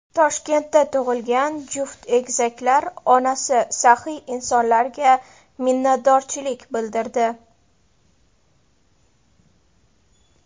Toshkentda tug‘ilgan juft egizaklar onasi saxiy insonlarga minnatdorchilik bildirdi.